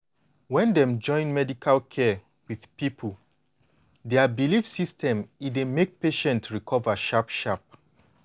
when dem join medical care with people dia belief system e dey make patient recover sharp sharp.